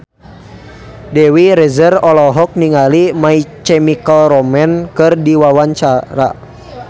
Dewi Rezer olohok ningali My Chemical Romance keur diwawancara